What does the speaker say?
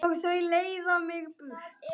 Og þau leiða mig burt.